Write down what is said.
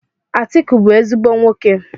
Atiku bu ezigbo nwoke.